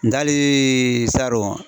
N dɛ ali saro.